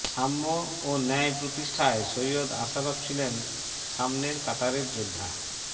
সাম্য ও ন্যায় প্রতিষ্ঠায় সৈয়দ আশরাফ ছিলেন সামনের কাতারের যোদ্ধা